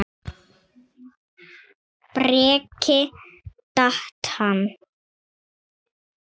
Breki: Datt hann?